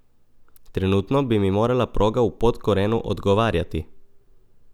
Trenutno bi mi morala proga v Podkorenu odgovarjati.